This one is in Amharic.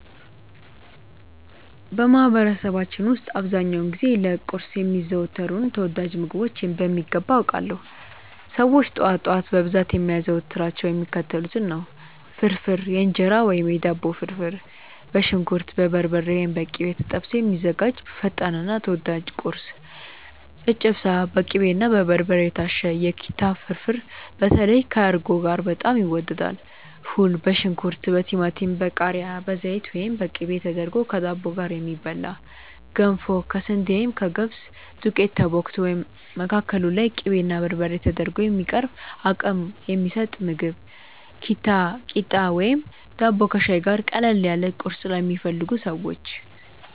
በማህበረሰባችን ውስጥ አብዛኛውን ጊዜ ለቁርስ የሚዘወተሩትን ተወዳጅ ምግቦች በሚገባ አውቃለሁ! ሰዎች ጠዋት ጠዋት በብዛት የሚያዘወትሯቸው የሚከተሉትን ነው፦ ፍርፍር (የእንጀራ ወይም የዳቦ ፍርፍር)፦ በሽንኩርት፣ በበርበሬ (ወይም በቅቤ) ተጠብሶ የሚዘጋጅ ፈጣንና ተወዳጅ ቁርስ። ጨጨብሳ፦ በቅቤና በበርበሬ የታሸ የኪታ ፍርፍር (በተለይ ከእርጎ ጋር በጣም ይወደዳል)። ፉል፦ በሽንኩርት፣ በቲማቲም፣ በቃሪያ፣ በዘይት ወይም በቅቤ ተደርጎ ከዳቦ ጋር የሚበላ። ገንፎ፦ ከስንዴ ወይም ከገብስ ዱቄት ተቦክቶ፣ መካከሉ ላይ ቅቤና በርበሬ ተደርጎ የሚቀርብ አቅም የሚሰጥ ምግብ። ኪታ፣ ቂጣ ወይም ዳቦ ከሻይ ጋር፦ ቀለል ያለ ቁርስ ለሚፈልጉ ሰዎች።